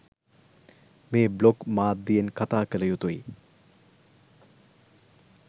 මේ බ්ලොග් මාධ්‍යයෙන් කතා කළ යුතුයි.